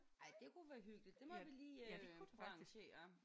Ej det kunne være hyggeligt. Det må vi lige øh arrangere